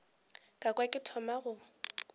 ka kwa ke thoma go